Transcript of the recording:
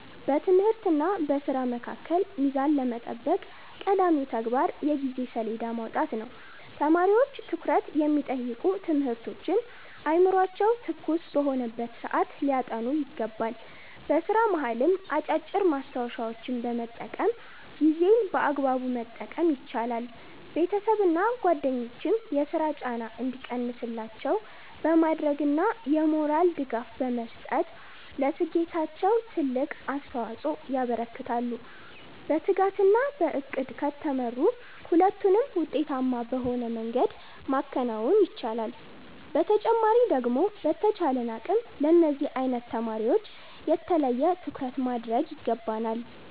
በትምህርትና በሥራ መካከል ሚዛን ለመጠበቅ ቀዳሚው ተግባር የጊዜ ሰሌዳ ማውጣት ነው። ተማሪዎች ትኩረት የሚጠይቁ ትምህርቶችን አእምሯቸው ትኩስ በሆነበት ሰዓት ሊያጠኑ ይገባል። በሥራ መሃልም አጫጭር ማስታወሻዎችን በመጠቀም ጊዜን በአግባቡ መጠቀም ይቻላል። ቤተሰብና ጓደኞችም የሥራ ጫና እንዲቀንስላቸው በማድረግና የሞራል ድጋፍ በመስጠት ለስኬታቸው ትልቅ አስተዋፅኦ ያበረክታሉ። በትጋትና በዕቅድ ከተመሩ ሁለቱንም ውጤታማ በሆነ መንገድ ማከናወን ይቻላል። በተጨማሪ ደግሞ በተቻለን አቅም ለነዚህ አይነት ተማሪወች የተለየ ትኩረት ማድረግ ይገባናል።